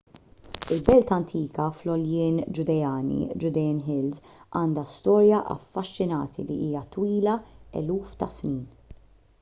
il-belt antika fl-għoljien ġudeani judean hills” għandha storja affaxxinanti li hija twila eluf ta’ snin